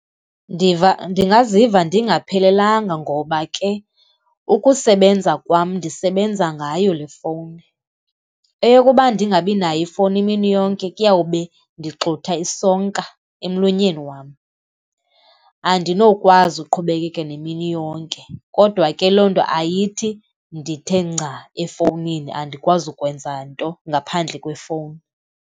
ndingaziva ndingaphelelanga ngoba ke ukusebenza kwam, ndisebenza ngayo lefowuni, eyokuba ndingabinayo ifowuni imini yonke kuyawube ndixutha isonka emlonyeni wam. Andinokwazi uqhubekeka nemini yonke kodwa ke loo nto ayithi ndithe nca efowunini andikwazi ukwenza nto ngaphandle kwefowuni